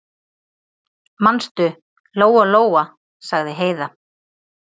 Manstu, Lóa-Lóa, sagði Heiða.